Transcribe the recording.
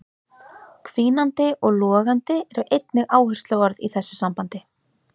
Hvínandi og logandi eru einnig áhersluorð í þessu sambandi.